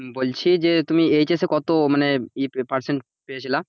বলছি যে তুমি HS কত মানে ই percent পেয়েছিলা,